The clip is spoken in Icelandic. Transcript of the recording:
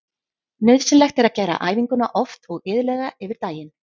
Nauðsynlegt er að gera æfinguna oft og iðulega yfir daginn.